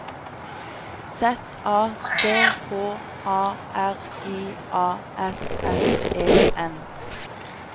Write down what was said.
Z A C H A R I A S S E N